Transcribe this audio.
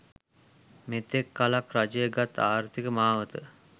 මෙතෙක් කලක් රජය ගත් ආර්ථික මාවත